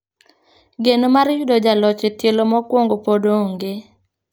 Geno mar yudo jaloch e tielo mokuongo pod onge .